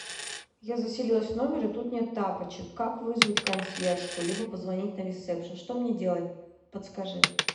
я заселилась в номер и тут нет тапочек как вызвать консьержку либо позвонить на ресепшен что мне делать подскажи